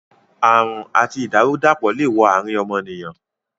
Àrùn àti ìdàrú-dàpọ̀ le wo àrín ọmọnìyàn